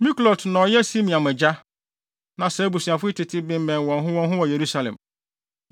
Miklot na ɔyɛ Simeam agya. Na saa abusuafo yi tete bemmɛn wɔn ho wɔn ho wɔ Yerusalem.